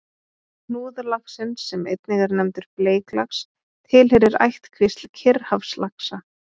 Hnúðlaxinn, sem einnig er nefndur bleiklax, tilheyrir ættkvísl Kyrrahafslaxa.